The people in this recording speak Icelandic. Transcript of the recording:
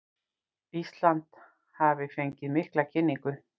Ísland hafi fengið mikla kynningu